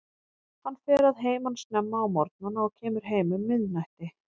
Hann fer að heiman snemma á morgnana og kemur heim um miðnætti.